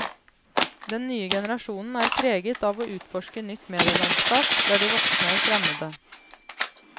Den nye generasjonen er preget av å utforske nytt medielandskap, der de voksne er fremmede.